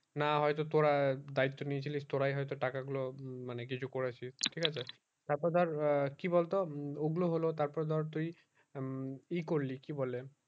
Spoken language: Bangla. না হয় তো তোরা দায়িত্ব নিয়েছিলিস তোরাই হয়তো টাকা গুলো মানে কিছু করেছিস ঠিক আছে তার পর ধর কি বল তো ওই গুলো হলো তার পর ধর তুই ই করলি কি বলে